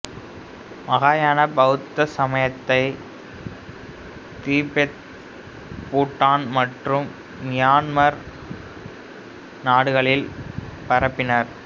மகாயாண பௌத்த சமயத்தை திபெத் பூட்டான் மற்றும் மியான்மர் நாடுகளில் பரப்பினர்